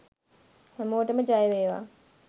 හැමෝටම ජය වේවා